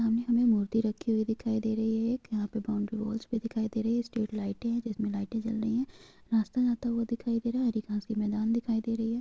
सामने हमे मूर्ति रखी हुई दिखाई दे रही है एक यहाँ पे बौंडरी वॉल्स भी दिखाई दे रही हैं स्ट्रीट लाइटे हैं जिसमे लाइटे जल रही हैं रास्ता जाता हुआ दिखाई दे रहा है हरी घाँस की मैदान दिखाई दे रही हैं।